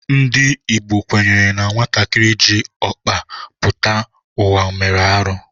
Ndị Igbo kwenyere na nwatakịrị jị ọkpa pụta ụwa mere arụ